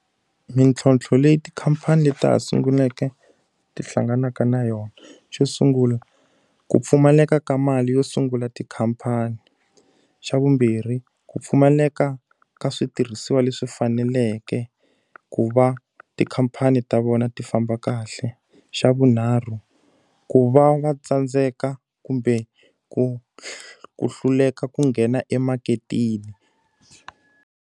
Mintlhotlho leyi tikhamphani ta ha sunguleke ti hlanganaka na yona. Xo sungula, ku pfumaleka ka mali yo sungula tikhamphani. Xa vumbirhi, ku pfumaleka ka switirhisiwa leswi faneleke ku va ku tikhamphani ta vona ti famba kahle. Xa vunharhu, ku va va tsandzeka kumbe ku ku hluleka ku nghena emaketeni.